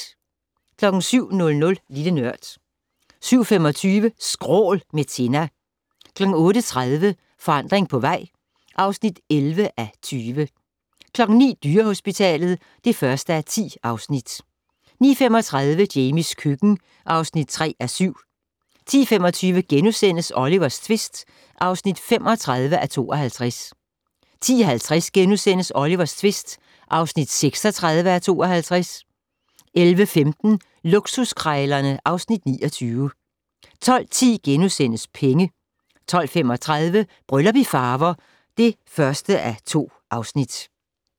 07:00: Lille Nørd 07:25: Skrål - med Tinna 08:30: Forandring på vej (11:20) 09:00: Dyrehospitalet (1:10) 09:35: Jamies køkken (3:7) 10:25: Olivers tvist (35:52)* 10:50: Olivers tvist (36:52)* 11:15: Luksuskrejlerne (Afs. 29) 12:10: Penge * 12:35: Bryllup i Farver (1:2)